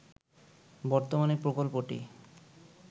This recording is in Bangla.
বর্তমানে প্রকল্পটি